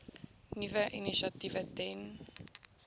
nuwe initiatiewe ten